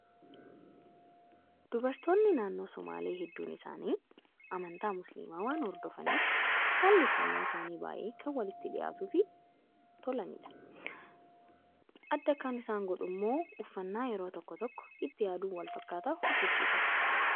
Dubartoonni naannoo sumaalee hedduun isaanii amantaa musliimaa waan hordofaniif haalli uffannaa isaanii baay'ee kan walitti dhiyaatuu fi tolanidha. Adda kan isaan godhummoo uffannaa yeroo tokko tokko itti yaaduun wal fakkaataa hojjachiifatu.